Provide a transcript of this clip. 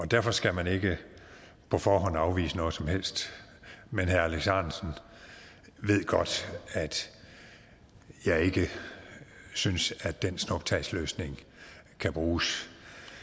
derfor skal man ikke på forhånd afvise noget som helst men herre alex ahrendtsen ved godt at jeg ikke synes at den snuptagsløsning kan bruges